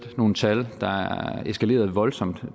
nogle tal der er eskaleret voldsomt